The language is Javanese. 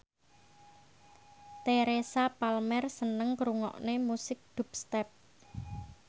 Teresa Palmer seneng ngrungokne musik dubstep